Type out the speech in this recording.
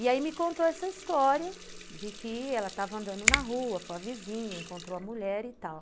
E aí me contou essa história de que ela estava andando na rua com a vizinha, encontrou a mulher e tal.